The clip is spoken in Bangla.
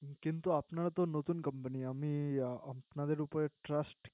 কিন্তু আপনারা তো নতুন Company আমি আপনাদের উপরে Trust